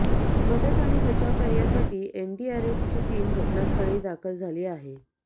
मदत आणि बचावकार्यासाठी एनडीआरएफची टीम घटनास्थळी दाखल झाली आहे